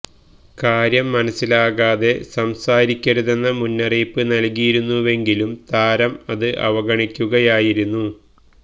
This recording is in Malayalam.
കാര്യം മനസ്സിലാക്കാതെ സംസാരിക്കരുതെന്ന മുന്നറിയിപ്പ് നല്കിയിരുന്നുവെങ്കിലും താരം അത് അവഗണിക്കുകയായിരുന്നു